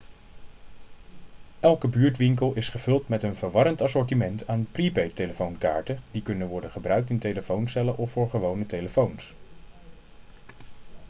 elke buurtwinkel is gevuld met een verwarrend assortiment aan prepaidtelefoonkaarten die kunnen worden gebruikt in telefooncellen of voor gewone telefoons